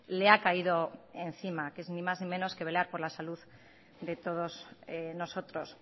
le ha caído encima que es ni más ni menos que velar por la salud de todos nosotros